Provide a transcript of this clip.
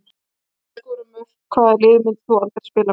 Með því að skora mörk Hvaða liði myndir þú aldrei spila með?